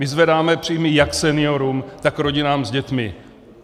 My zvedáme příjmy jak seniorům, tak rodinám s dětmi.